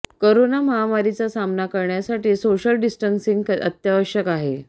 corona महामारीचा सामना करण्यासाठी सोशल डिस्टन्सिंग अत्यावश्यक आहे